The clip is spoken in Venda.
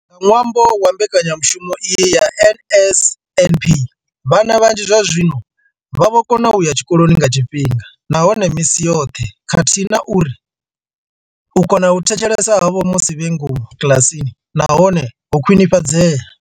Nga ṅwambo wa mbekanya mushumo iyi ya NSNP, vhana vhanzhi zwazwino vha vho kona u ya tshikoloni nga tshifhinga nahone misi yoṱhe khathihi na uri u kona u thetshelesa havho musi vhe ngomu kiḽasini na hone ho khwini fhadzea.